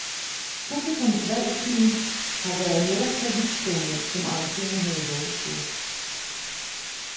Publikums valg af film har været netop så vidtspændende, som arrangørerne havde håbet på.